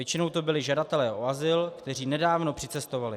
Většinou to byli žadatelé o azyl, kteří nedávno přicestovali.